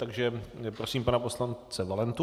Takže prosím pana poslance Valentu.